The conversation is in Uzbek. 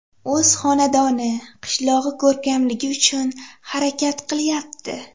O‘z xonadoni, qishlog‘i ko‘rkamligi uchun harakat qilyapti.